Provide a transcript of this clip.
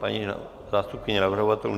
Paní zástupkyně navrhovatelů?